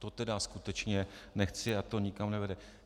To tedy skutečně nechci a to nikam nevede.